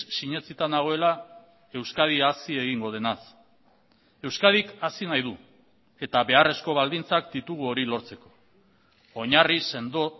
sinetsita nagoela euskadi hazi egingo denaz euskadik hazi nahi du eta beharrezko baldintzak ditugu hori lortzeko oinarri sendo